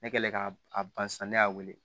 Ne kɛlen k'a a ban sisan ne y'a wele